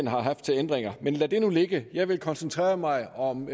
har haft til ændringer men lad det nu ligge jeg vil koncentrere mig om